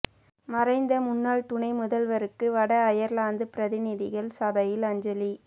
மறைந்த முன்னாள் துணை முதல்வருக்கு வட அயர்லாந்து பிரதிநிதிகள் சபையில் அஞ்சலி